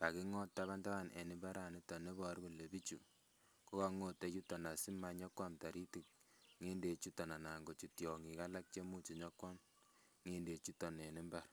kaking'ot taban taban en mbarani neiboru kole bichu kokong'ote yuton asimanyokoam toritik ng'endek chuton anan kochut tiong'ik alak chemuch nyokoam ng'endek chuton en mbar